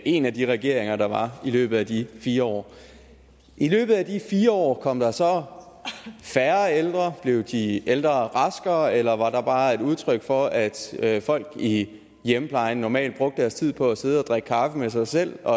en af de regeringer der var i løbet af de fire år i løbet af de fire år kom der så færre ældre blev de ældre raskere eller var det bare et udtryk for at at folk i hjemmeplejen normalt brugte deres tid på at sidde og drikke kaffe med sig selv og